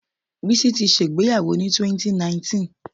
Bísí ti ṣẹ ìgbéyàwó ni 2019.